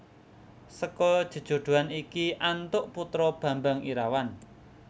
Seka jejodhoan iki antuk putra Bambang Irawan